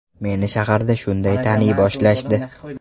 Meni shaharda shunday taniy boshlashdi.